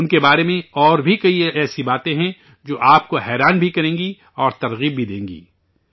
ان کے بارے میں اور بھی کئی باتیں ایسی ہیں جو آپ کو حیران بھی کریں گی اور تحریک بھی دیں گی